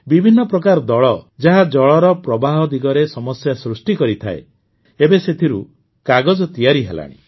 ବିଭିନ୍ନ ପ୍ରକାର ଦଳ ଯାହା ଜଳର ପ୍ରବାହ ଦିଗରେ ସମସ୍ୟା ସୃଷ୍ଟି କରିଥାଏ ଏବେ ସେଥିରୁ କାଗଜ ତିଆରି ହେଲାଣି